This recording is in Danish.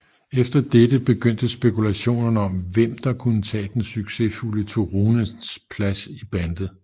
Efter dette begyndte spekulationerne om hvem der kunne tage den succesfulde Turunens plads i bandet